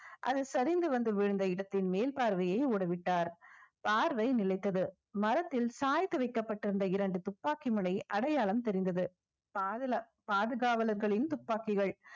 அது சரிந்து வந்து விழுந்த இடத்தின் மேல் பார்வையை ஓட விட்டார் பார்வை நிலைத்தது மரத்தில் சாய்த்து வைக்கப்பட்டிருந்த இரண்டு துப்பாக்கி முனை அடையாளம் தெரிந்தது பாதுல~ பாதுகாவலர்களின் துப்பாக்கிகள்